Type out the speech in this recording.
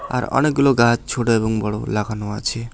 আর অনেকগুলো গাছ ছোট এবং বড়ো লাগানো আছে।